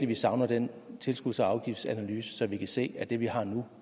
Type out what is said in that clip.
vi savner den tilskuds og afgiftsanalyse så vi kan se at det vi har nu